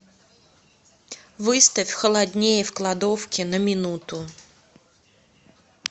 выставь холоднее в кладовке на минуту